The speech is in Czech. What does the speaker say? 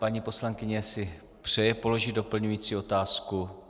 Paní poslankyně si přeje položit doplňující otázku?